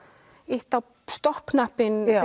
ýtt á stopp